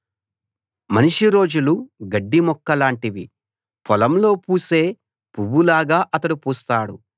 మనిషి రోజులు గడ్డి మొక్కలాంటివి పొలంలో పూసే పువ్వులాగా అతడు పూస్తాడు